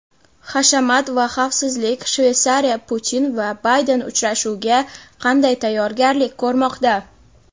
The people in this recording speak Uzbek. Hashamat va xavfsizlik: Shveysariya Putin va Bayden uchrashuviga qanday tayyorgarlik ko‘rmoqda?.